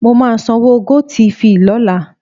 Mo máa sanwó GoTv lọ́la.